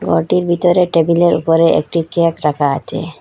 ঘরটির ভিতরে টেবিলের উপরে একটি কেক রাখা আছে।